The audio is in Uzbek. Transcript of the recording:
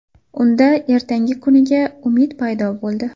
Unda ertangi kuniga umid paydo bo‘ldi.